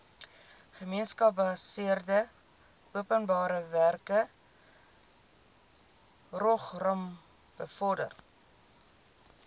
gemeenskapsgebaseerde openbarewerkeprogram bevorder